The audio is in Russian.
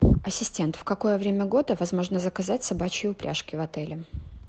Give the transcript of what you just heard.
ассистент в какое время года возможно заказать собачьи упряжки в отеле